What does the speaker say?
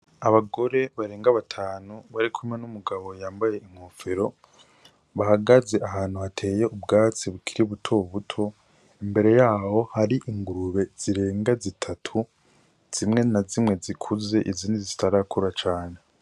Abagore barenga batanu barikumwe n'umugabo yambaye inkofero, bahagaze ahantu hateye ubwatsi bukiri butobuto, imbere yaho hari ingurube zirenga zitatu, zimwe na zimwe zikuze izindi zitarakura cane.